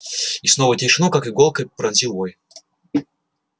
и снова тишину как иголкой пронзил вой